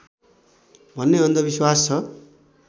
भन्ने अन्धविश्वास छ